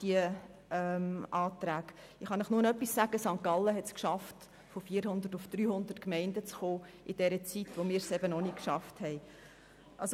Ich kann Ihnen nur etwas sagen: St. Gallen hat es geschafft, von 400 auf 300 Gemeinden zu reduzieren und zwar in der Zeit, in der wir es noch nicht geschafft haben.